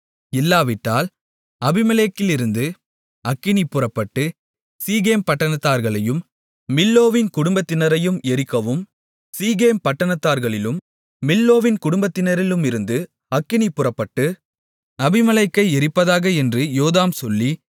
இல்லாவிட்டால் அபிமெலேக்கிலிருந்து அக்கினி புறப்பட்டு சீகேம் பட்டணத்தார்களையும் மில்லோவின் குடும்பத்தினரையும் எரிக்கவும் சீகேம் பட்டணத்தார்களிலும் மில்லோவின் குடும்பத்தினரிலுமிருந்து அக்கினி புறப்பட்டு அபிமெலேக்கை எரிப்பதாக என்று யோதாம் சொல்லி